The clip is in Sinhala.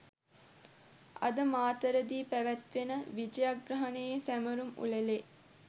අදමාතරදී පැවැත්වෙන විජයග්‍රහණයේ සැමරුම් උළෙලේ